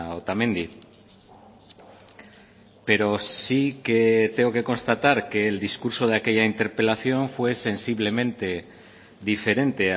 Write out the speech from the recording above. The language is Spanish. otamendi pero sí que tengo que constatar que el discurso de aquella interpelación fue sensiblemente diferente